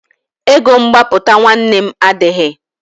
Ego mgbapụta nwanne m adịghị.